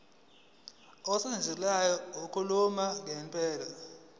ukusetshenziswa kwenkulumo mpendulwano